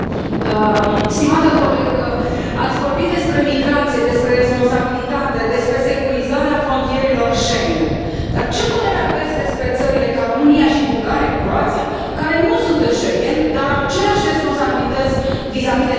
Stimată colegă, ați vorbit despre migrație, despre responsabilitate, despre securizarea frontierelor Schengen, dar ce părere aveți despre țări ca România și Bulgaria, Croația, care nu sunt în Schengen, dar au aceleași responsabilități vizavi de migrație?